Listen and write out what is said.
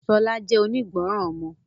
Busola jẹ́ onígbọràn ọmọ.